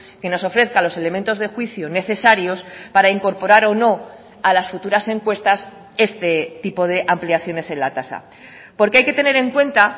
que nos ofrezca los elementos de juicio necesarios para incorporar o no a las futuras encuestas este tipo de ampliaciones en la tasa porque hay que tener en cuenta